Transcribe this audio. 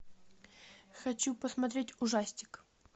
хочу посмотреть ужастик